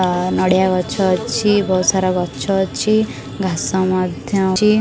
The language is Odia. ଆଁ ନଡ଼ିଆ ଗଛ ଅଛି ବହୁତ୍ ସାରା ଗଛ ଅଛି ଘାସ ମଧ୍ୟ ଅଛି।